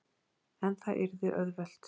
En það yrði auðvelt.